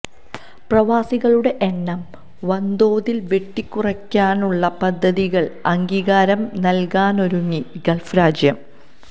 പ്രവാസികളുടെ എണ്ണം വന്തോതില് വെട്ടിക്കുറയ്ക്കാനുള്ള പദ്ധതികള്ക്ക് അംഗീകാരം നല്കാനൊരുങ്ങി ഗൾഫ് രാജ്യം